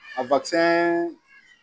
A